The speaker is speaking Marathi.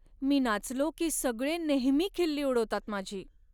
मी नाचलो की सगळे नेहमी खिल्ली उडवतात माझी.